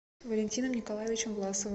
валентином николаевичем власовым